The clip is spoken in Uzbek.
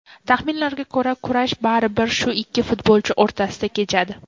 Taxminlarga ko‘ra, kurash baribir shu ikki futbolchi o‘rtasida kechadi.